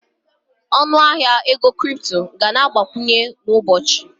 Ọnụ ahịa ego kripto ga na-abawanye kwa ụbọchị